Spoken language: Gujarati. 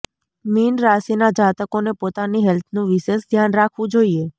મીન રાશિના જાતકોને પોતાની હેલ્થનું વિશેષ ધ્યાન રાખવું જોઈએ